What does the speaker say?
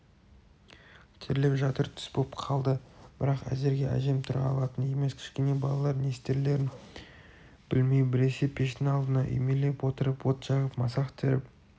терлеп жатыр түс боп қалды бірақ әзірге әжем тұра алатын емес кішкене балалар не істерлерін білмей біресе пештің алдына үймелей отырып от жағып масақ теріп